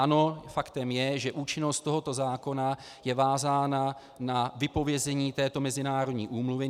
Ano, faktem je, že účinnost tohoto zákona je vázána na vypovězení této mezinárodní úmluvy.